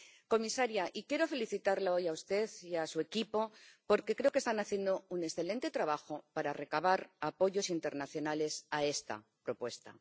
Comisaria, quiero felicitarla hoy, a usted y a su equipo, porque creo que están haciendo un excelente trabajo para recabar apoyos internacionales a esta propuesta.